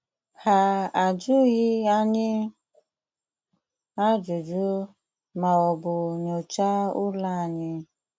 Ha ajụghị anyị ajụjụ ma ọ bụ nyocha ụlọ anyị.